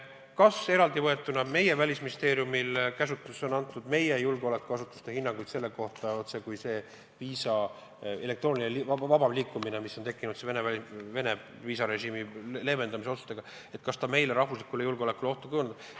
Kas meie Välisministeeriumi käsutuses on Eesti julgeolekuasutuste hinnanguid selle kohta, kas see tänu elektroonilisele viisale vabam liikumine, mis on tekkinud Venemaa viisarežiimi leevendamise otsuste mõjul, kujutab ka ohtu meie riigi julgeolekule?